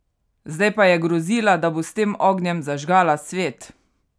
Zdaj pa je grozila, da bo s tem ognjem zažgala svet?